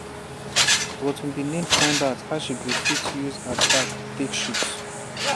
but we bin need find out how she go fit use her back take shoot."